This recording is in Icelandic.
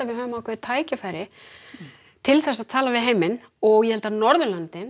við höfum tækifæri til þess að tala við heiminn ég held að Norðurlöndin